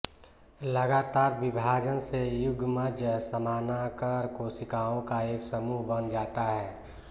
लगातार विभाजन से युग्मज समानाकर कोशिकाओं का एक समूह बन जाता है